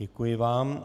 Děkuji vám.